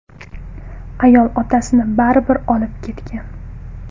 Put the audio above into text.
Ayol otasini baribir olib ketgan.